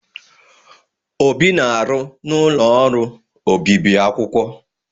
Obi na-arụ n'ụlọ ọrụ obibi akwụkwọ.